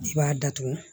I b'a datugu